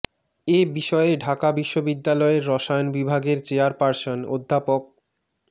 এ বিষয়ে ঢাকা বিশ্ববিদ্যালয়ের রসায়ন বিভাগের চেয়ারপারসন অধ্যাপক ড